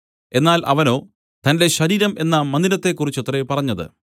എന്നാൽ അവനോ തന്റെ ശരീരം എന്ന മന്ദിരത്തെക്കുറിച്ചത്രേ പറഞ്ഞത്